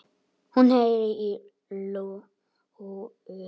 Hún heyrir í lóu.